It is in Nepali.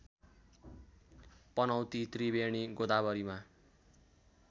पनौती त्रिवेणी गोदावरीमा